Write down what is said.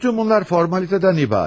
Bütün bunlar formalitedən ibarət.